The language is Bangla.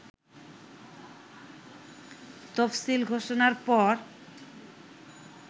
তফসিল ঘোষণার পর